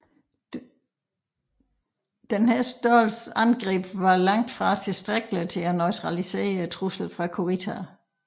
Denne størrelse angreb var langt fra tilstrækkelig til at neutralisere truslen fra Kurita